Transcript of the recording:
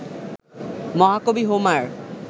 মহাকবি হোমার